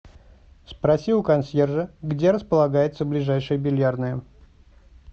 спроси у консьержа где располагается ближайшая бильярдная